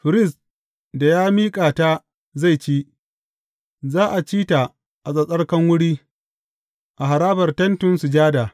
Firist da ya miƙa ta zai ci, za a ci ta a tsattsarkan wuri, a harabar Tentin Sujada.